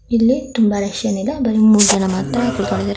ಇಲ್ಲಿ ತುಂಬಾ ರಶ್ ಏನ್ ಇಲ್ಲ ಬರಿ ಮೂರ್ ಜನ ಮಾತ್ರ ಕುತ್ಕೊಂಡಿದ್ದಾರೆ.